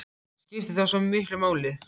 En skiptir það svo miklu máli?